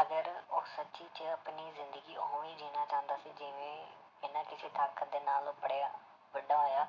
ਅਗਰ ਉਹ ਸੱਚੀ 'ਚ ਆਪਣੀ ਜ਼ਿੰਦਗੀ ਉਵੇਂ ਹੀ ਜਿਉਣਾ ਚਾਹੁੰਦਾ ਸੀ ਜਿਵੇਂ ਬਿਨਾਂ ਕਿਸੇ ਤਾਕਤ ਦੇ ਨਾਲ ਉਹ ਪੜ੍ਹਿਆ ਵੱਡਾ ਹੋਇਆ